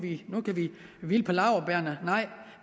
hvile på laurbærrene